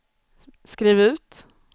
skriv ut